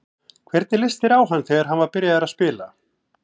Hvernig leist þér á hann þegar hann var byrjaður að spila?